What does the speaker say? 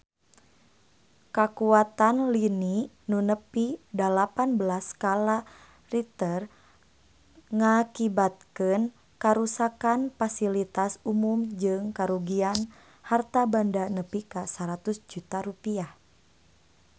Kakuatan lini nu nepi dalapan belas skala Richter ngakibatkeun karuksakan pasilitas umum jeung karugian harta banda nepi ka 100 juta rupiah